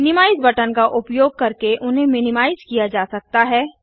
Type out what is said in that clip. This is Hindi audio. मिनिमाइज बटन का उपयोग करके उन्हें मिनिमाइज किया जा सकता है